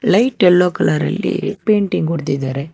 Light yellow colour ಅಲ್ಲಿ painting ಹೊಡೆದಿದ್ದಾರೆ.